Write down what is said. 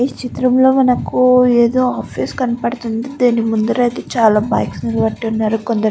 ఈ చిత్రం లో మనకి ఎదో ఆఫీస్ కనబడుతుంది దాని ముందర అయితే చాలా బైక్స్ నిలబెట్టి ఉన్నారు కొందరు.